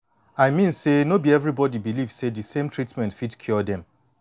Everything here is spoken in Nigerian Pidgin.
i mean say no be everybody believe say de same treatment fit cure dem